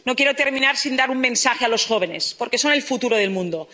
atrás. No quiero terminar sin dar un mensaje a los jóvenes, porque son el futuro del